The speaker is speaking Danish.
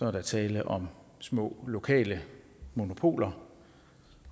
er der tale om små lokale monopoler